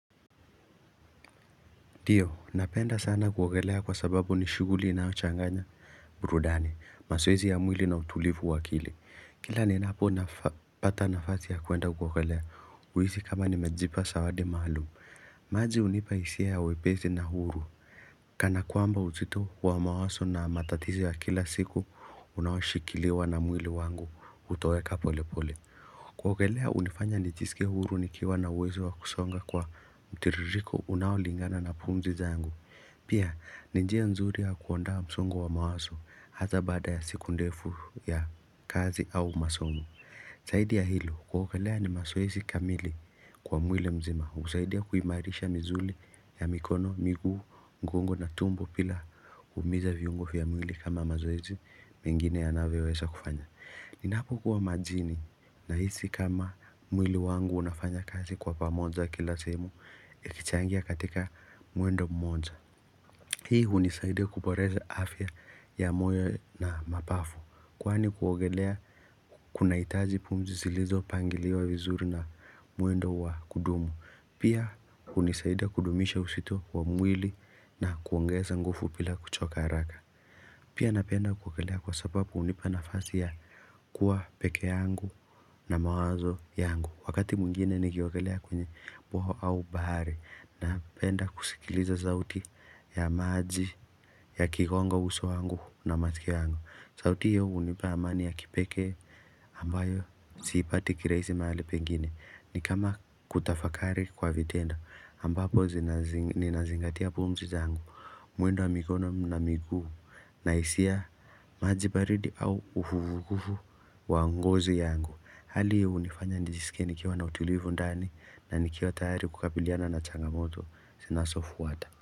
Ndiyo, napenda sana kuogelea kwa sababu ni shughuli inayochanganya, burudani, mazoezi ya mwili na utulivu wa akili. Kila ninapopata nafasi ya kwenda kuogelea, huisi kama nimejipa zawadi maalum. Maji hunipa hisia ya wepesi na uhuru. Kana kwamba uzito wa mawazo na matatizo ya kila siku, unaoshikiliwa na mwili wangu, hutoweka polepole. Kuogelea hunifanya nijisikie huru nikiwa na uwezo wa kusonga kwa mtiririko unaolingana na pumzi zangu Pia ni njia nzuri ya kuondoa msongo wa mawazo hasa baada ya siku ndefu ya kazi au masomo Zaidi ya hilo kuogelea ni mazoezi kamili kwa mwili mzima husaidia kuimairisha misuli ya mikono, miguu, mgongo na tumbo bila kuumiza viungo vya mwili kama mazoezi mengine yanavyoweza kufanya Ninapokuwa majini nahisi kama mwili wangu unafanya kazi kwa pamoja kila sehemu Ikichangia katika mwendo mmoja Hii hunisaidia kuboresha afya ya moyo na mapafu Kwani kuogelea kunahitaji pumzi zilizopangiliwa vizuri na mwendo wa kudumu Pia hunisaidia kudumisha uzito wa mwili na kuongeza nguvu bila kuchoka haraka Pia napenda kuogelea kwa sababu hunipa nafasi ya kuwa peke yangu na mawazo yangu. Wakati mwingine nikiogelea kwenye bwawa au bahari. Napenda kusikiliza sauti ya maji yakigonga uso wangu na masikio yangu. Sauti hiyo hunipa amani ya kipekee ambayo siipati kirahisi mahali pengine. Ni kama kutafakari kwa vitendo ambapo ninazingatia pumzi zangu. Mwendo wa mikono na miguu na hisia maji baridi au uvuguvugu wa ngozi yangu Hali hiyo hunifanya nijisike nikiwa na utulivu ndani na nikiwa tayari kukabiliana na changamoto zinazofuata.